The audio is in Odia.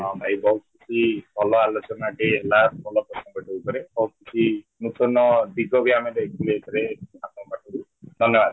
ହଁ ଭାଇ ବହୁତ କିଛି ଭଲ ଆଲୋଚନା ଟିଏ ହେଲା ଭଲ ଉପରେ ବହୁତ କିଛି ନୂତନ ଦିଗ ବି ଆମେ ଦେଖିଲେ ଏଥିରେ , ଧନ୍ୟଵାଦ